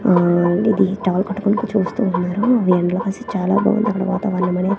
ఆహ్ ఇది టవల్ కట్టుకొని చూస్తున్నారు చాలా బాగుందని అక్కడ వాతావరణం అనేది.